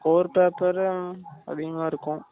core paper அதிகமா இருக்கும்.